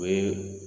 O ye